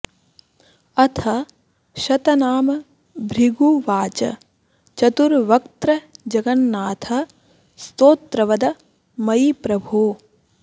अथ शतनाम भृगुवाच चतुर्वक्त्र जगन्नाथ स्तोत्रवद मयि प्रभो